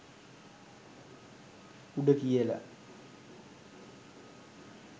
“උඩ” කියලා.